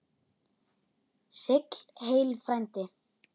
Sigl heill frændi.